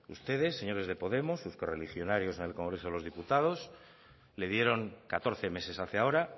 ustedes señores de podemos sus colerrigionarios en el congreso de los diputados le dieron catorce meses hace ahora